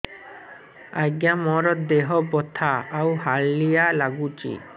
ଆଜ୍ଞା ମୋର ଦେହ ବଥା ଆଉ ହାଲିଆ ଲାଗୁଚି